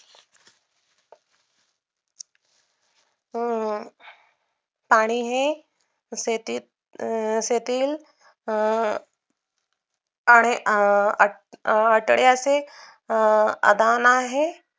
हम्म आणि हे शेतीत, शेतील अं आहे अं अं आठड्याचे आदान आहे